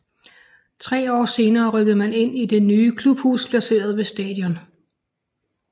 Tre år senere rykker man ind i det nye klubhus placeret ved stadion